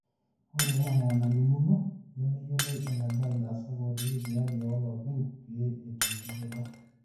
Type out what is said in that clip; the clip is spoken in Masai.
ore enaa enalimuno nemeyioloi eneba ilaasak ootii sipitalini ooloopeny pee etum dupoto